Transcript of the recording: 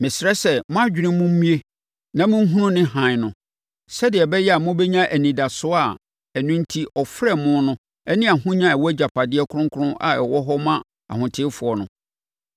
Mesrɛ sɛ mo adwene mu mmue na monhunu ne hann no, sɛdeɛ ɛbɛyɛ a mobɛnya anidasoɔ a ɛno enti ɔfrɛɛ mo no ne ahonya a ɛwɔ agyapadeɛ kronkron a ɛwɔ hɔ ma ahotefoɔ no,